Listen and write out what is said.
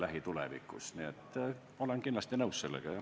Nii et ma olen sellega kindlasti nõus, jah.